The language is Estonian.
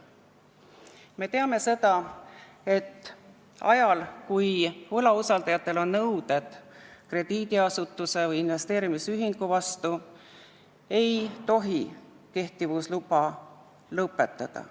Me teame seda, et ajal, kui võlausaldajatel on nõudeid krediidiasutuse või investeerimisühingu vastu, ei tohi tegevusloa kehtivust lõpetada.